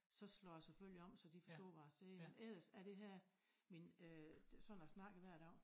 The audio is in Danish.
Så slår jeg selvfølgelig om så de forstår hvad jeg siger men ellers så er det her min øh sådan jeg snakker hver dag